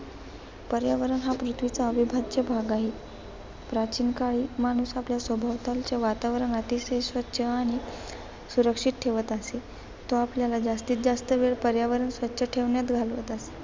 पर्यावरण हा पृथ्वीचा अविभाज्य भाग आहे. प्राचीन काळी माणूस आपल्या सभोवतालचे वातावरण अतिशय स्वच्छ आणि सुरक्षित ठेवत असे तो आपल्याला जास्तीजास्त वेळ पर्यावरण स्वच्छ ठेवण्यात घालवत असे.